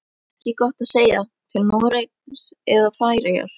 Ekki gott að segja, til Noregs eða Færeyja.